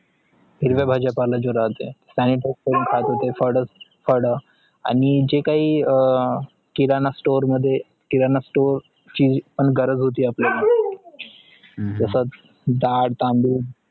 हिरवा भाजीपाला जो रातेय sanitize करून कात होत फड आणि जे काय किराणा STORE मध्ये किराणा STORE ची पण गरज होत आपल्या तसेच दाल, तांदूळ